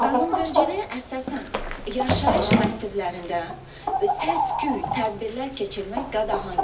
Qanunvericiliyə əsasən yaşayış massivlərində səs-küy tədbirlər keçirmək qadağandır.